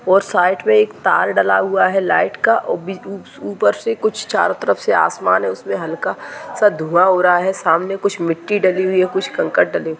और साइड पे एक तार डला हुआ है लाइट का उ बीज उ से कुछ चारों तरफ से आसमान है उसमें हल्का-सा धुआँ हो रहा है सामने कुछ मिट्टी डली हुई है कुछ कंकर डले हुए--